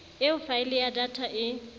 eo faele ya data e